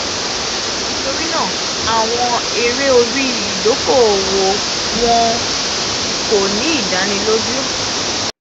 nitorinaa àwọn ere ori idoko-owo wọn idoko-owo wọn ko ni idaniloju.